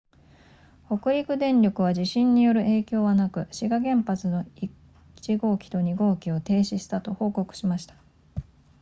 北陸電力は地震による影響はなく志賀原発の1号機と2号機を停止したと報告しました